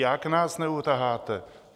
Jak nás neutaháte?